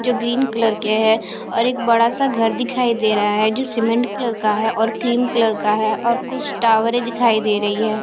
जो green colour के हैं और एक बड़ा सा घर दिखाई दे रहा है जो सीमेंट कलर का है और क्रीम कलर का है और कुछ टावरें दिखाई दे रही हैं।